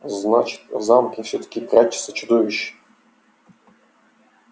значит в замке всё-таки прячется чудовище